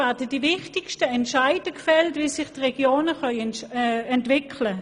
Dort werden die wichtigsten Entscheide über die Entwicklung der Regionen gefällt.